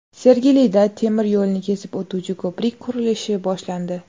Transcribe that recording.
Sergelida temir yo‘lni kesib o‘tuvchi ko‘prik qurilishi boshlandi .